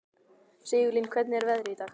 Sigurlín, hvernig er veðrið í dag?